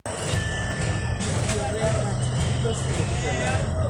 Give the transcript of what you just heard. Ore eishoi erishata dorop keyieu enkare naitosha terishata dorop.